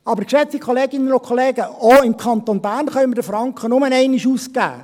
Aber, geschätzte Kolleginnen und Kollegen, auch im Kanton Bern können wir den Franken nur einmal ausgeben.